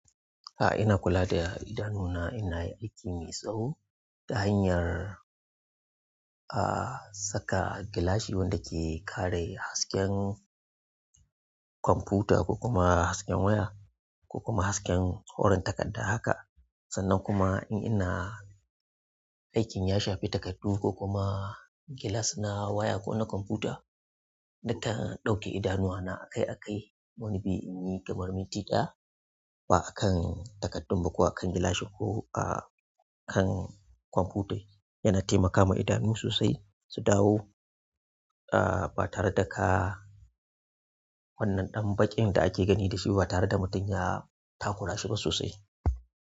A ina kula da idanuna, ina yin aiki mai tsawo ta hanyar, ah, saka gilashi wanda ke kare hasken computer ko kuma hasken waya ko kuma hasken farin takadda haka. Sannan kuma in ina aikin ya shafi takaddu ko kuma gilas na waya ko na computer, nakan ɗauke idanuwa na akai-akai. Wani bi in yi kamar minti ɗaya, ba a kan takardun ba ko a kan gilashi ko, ah, kan computai. Yana taimakama idanu sosai su dawo, ah, ba tare da ka wannan ɗan baƙin da ake gani da shi ba tare da mutum ya takura shi ba sosai.